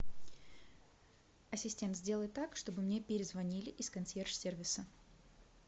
ассистент сделай так чтобы мне перезвонили из консьерж сервиса